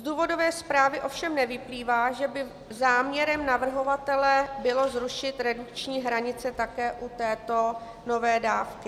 Z důvodové zprávy ovšem nevyplývá, že by záměrem navrhovatele bylo zrušit redukční hranice také u této nové dávky.